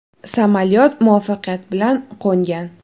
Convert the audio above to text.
Samolyot muvaffaqiyat bilan qo‘ngan.